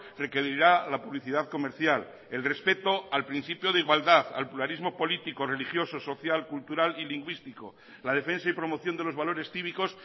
requerirá la publicidad comercial el respeto al principio de igualdad al pluralismo político religioso social cultural y lingüístico la defensa y promoción de los valores cívicos